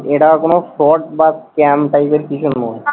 এটা কোন fraud বা scam type এর কিছু নয়।